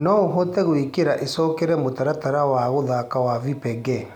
noũhote gũĩkïra icokere mũtaratara wa guthaka wa vipengee